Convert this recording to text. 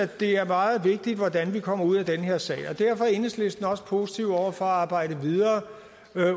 det er meget vigtigt hvordan vi kommer ud af den her sag derfor er enhedslisten også positiv over for at arbejde videre